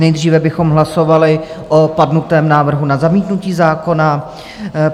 Nejdříve bychom hlasovali o padnutém návrhu na zamítnutí zákona.